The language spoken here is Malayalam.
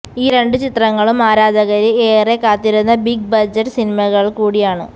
ഈ രണ്ട് ചിത്രങ്ങളും ആരാധകര് ഏറെ കാത്തിരിക്കുന്ന ബിഗ് ബജക്ട് സിനിമകള് കൂടിയാണ്